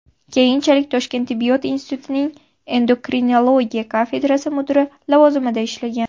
Keyinchalik Toshkent tibbiyot institutining endokrinologiya kafedrasi mudiri lavozimida ishlagan.